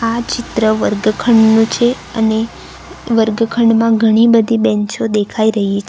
આ ચિત્ર વર્ગખંડનું છે અને વર્ગખંડમાં ઘણી બધી બેંચો દેખાય રહી છે.